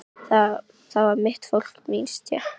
Það var mitt fólk, mín stétt.